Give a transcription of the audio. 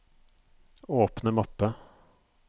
åpne mappe